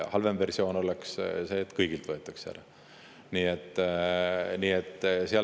Halvem versioon oleks see, et kõigilt võetaks ära.